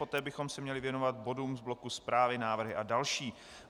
Poté bychom se měli věnovat bodům z bloku zprávy, návrhy a další.